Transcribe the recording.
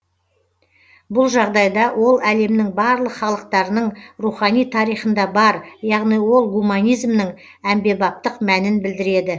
бұл жағдайда ол әлемнің барлық халықтарының рухани тарихында бар яғни ол гуманизмнің әмбебаптық мәнін білдіреді